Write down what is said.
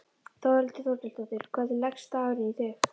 Þórhildur Þorkelsdóttir: Hvernig leggst dagurinn í þig?